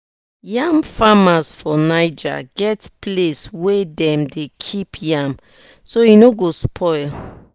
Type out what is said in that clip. yam farmers for niger get place wey dem dey keep yam so e no go spoil no go spoil quick after dem harvest am.